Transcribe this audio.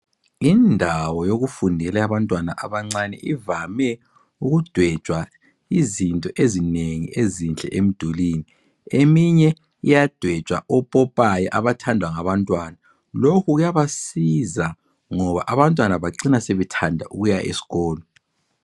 Indawo yokufundela eyabantwana abancane ivame ukudwetshwa izinto ezinengi enhle emdulwini. Eminye iyadwetshwa opopayi abathandwa ngabantwana. Lokhu kuyabasiza ngoba abantwana bacina sebethanda ukuya esikolo.